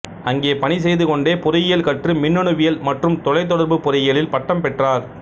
அங்கே பணிசெய்து கொண்டே பொறியியல் கற்று மின்னணுவியல் மற்றும் தொலைத்தொடர்பு பொறியியலில் பட்டம் பெற்றார்